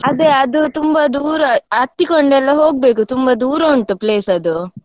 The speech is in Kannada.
ಅದೇ ಅದು ತುಂಬಾ ದೂರ, ಹತ್ತಿಕೊಂಡು ಎಲ್ಲ ಹೋಗ್ಬೇಕು ತುಂಬಾ ದೂರ ಉಂಟು place ಅದು.